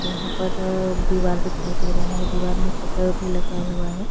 यहाँ पर दिवार दिखाई दे रहा है दिवार पे शटर भी लगा हुआ हैं।